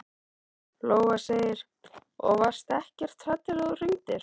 Lóa: Og varstu ekkert hrædd þegar þú hringdir?